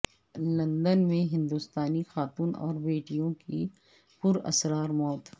London میں ہندوستانی خاتون اور بیٹیوں کی پراسرار موت